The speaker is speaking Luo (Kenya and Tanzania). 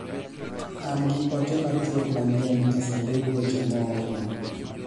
an gi ote machuok manyien e sandug weche moorna